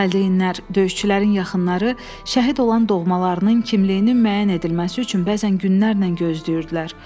Valideynlər, döyüşçülərin yaxınları, şəhid olan doğmalarının kimliyinin müəyyən edilməsi üçün bəzən günlərlə gözləyirdilər.